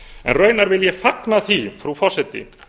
en raunar vil ég fagna því frú forseti